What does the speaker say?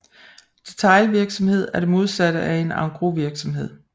Detailvirksomhed er det modsatte af en engrosvirksomhed